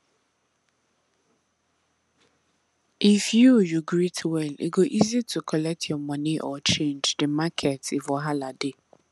if you you greet well e go easy to collect your moni or change the market if wahala dey